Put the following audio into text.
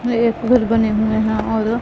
नए घर बने हुए हैं और--